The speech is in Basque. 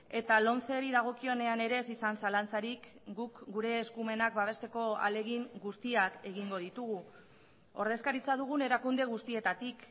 eta lomceri dagokionean ere ez izan zalantzarik guk gure eskumenak babesteko ahalegin guztiak egingo ditugu ordezkaritza dugun erakunde guztietatik